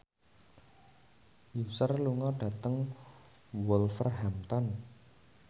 Usher lunga dhateng Wolverhampton